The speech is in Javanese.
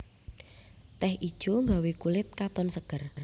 Teh ijo gawé kulit katon seger